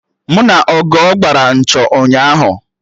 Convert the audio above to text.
Mụ na Ogo gbara nchọ ụnyaahụ